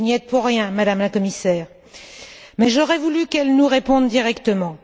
Vous n'y êtes pour rien, Madame la Commissaire, mais j'aurais voulu qu'elle nous réponde directement.